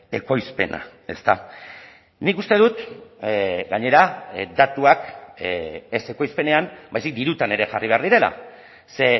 ekoizpena ezta nik uste dut gainera datuak ez ekoizpenean baizik dirutan ere jarri behar direla ze